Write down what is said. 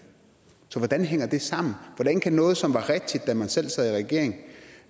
så hvordan hænger det sammen hvordan kan noget som var rigtigt da man selv sad i regering